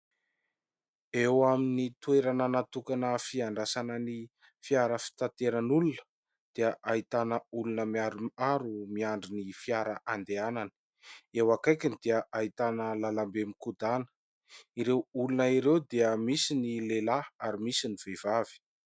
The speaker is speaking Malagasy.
Eo amin'ny toerana natokana fiandrasana ny fiara fitateran'olona dia ahitana olona maromaro miandry ny fiara andehanana; eo akaikiny dia ahitana lalam-be mikodana; ireo olona ireo dia misy ny lehilahy ary misy ny vehivavy.